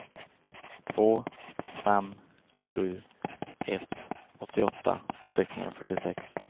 två fem sju ett åttioåtta sexhundrafyrtiosex